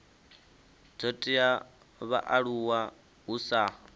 dzo teaho vhaaluwa hu sa